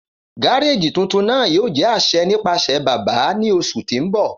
Gareji tuntun naa yoo jẹ aṣẹ nipasẹ baba ni oṣu ti n bọ.